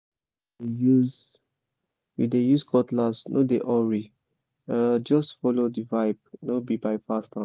if you dey use you dey use cutlass no dey hurry—just follow the vibe no be by fast hand